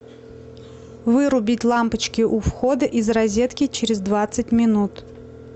вырубить лампочки у входа из розетки через двадцать минут